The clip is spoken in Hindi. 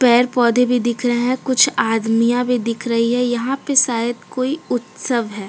पेड़- पौधे भी दिख रहे हैं कुछ आदमिया भी दिख रही है यहां पे शायद कोई उत्सव है|